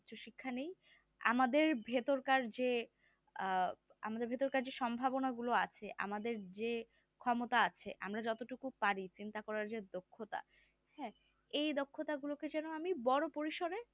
উচ্চশিক্ষা নেই আমাদের ভেতরকার যে আহ আমাদের ভেতরকার যে সম্ভাবনা গুলো আছে আমাদের যে ক্ষমতা আছে আমরা যতটুকু পারি চিন্তা করার যে দক্ষতা হ্যাঁ এই দক্ষতা গুলো কে যেন আমি বড়ো পরিসরে